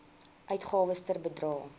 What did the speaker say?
uitgawes ter bedrae